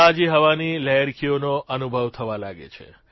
તાજી હવાની લહેરખીઓનો અનુભવ થવા લાગે છે